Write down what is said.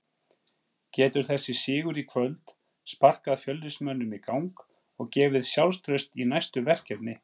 Getur þessi sigur í kvöld sparkað Fjölnismönnum í gang og gefið sjálfstraust í næstu verkefni?